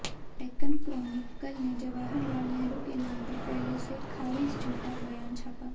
Deccan Chronicle ने जवाहरलाल नेहरू के नाम पर पहले से खारिज झूठा बयान छापा